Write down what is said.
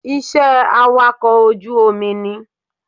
Iṣẹ́ awakọ̀ ojú omi ni